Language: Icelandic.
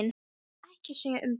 Ég skal ekkert segja um það.